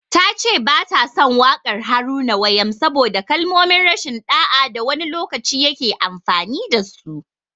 Ta ce ba ta son waƙar Haruna Wayam saboda kalmomin rashin ɗa'a da wani lokaci ya ke amfani da su.